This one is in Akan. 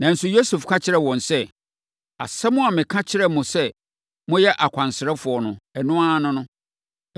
Nanso, Yosef ka kyerɛɛ wɔn sɛ, “Asɛm a meka kyerɛɛ mo sɛ moyɛ akwansrafoɔ no, ɛno ara ne no.